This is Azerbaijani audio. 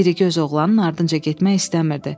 İrigöz oğlanın ardınca getmək istəmirdi.